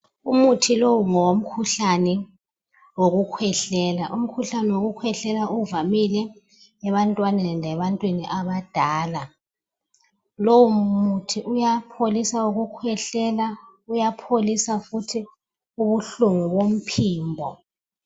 Umuthi lowu ngowomkhuhlane wokukhwehlela umkhuhlane wokukhwehlela kuvamile ebantwaneni lebantwini abadala lowu muthi uyapholisa ukukhwehlela uyapholisa futhi ubuhlungu bomphimbo.